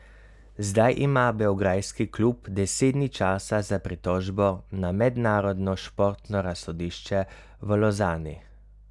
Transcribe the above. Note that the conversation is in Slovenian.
Zdaj ima beograjski klub deset dni časa za pritožbo na mednarodno športno razsodišče v Lozani.